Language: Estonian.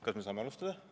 Kas me saame alustada?